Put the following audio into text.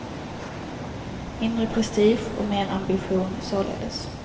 Mindre prestige och mer ambition, således.